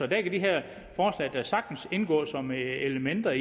der kan de her forslag da sagtens indgå som elementer